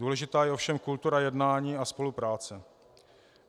Důležitá je ovšem kultura jednání a spolupráce.